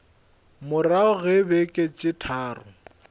morago ga beke tše tharo